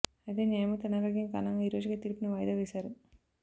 అయితే న్యాయమూర్తి అనారోగ్యం కారణంగా ఈ రోజుకి తీర్పుని వాయిదా వేసారు